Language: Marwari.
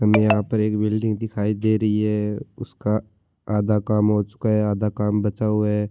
हमे यहाँ पर एक बिल्डिंग दिखाय दे रही है उसका आधा काम हो चूका है आधा काम बचा हुवा है।